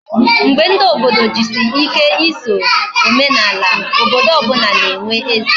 Mgbe ndi obodo jisi ike eso omenala, obodo obula na enwe eze